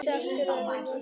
Dekur væri rétta orðið.